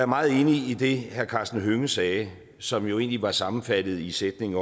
meget enig i det herre karsten hønge sagde som jo egentlig var sammenfattet i sætningen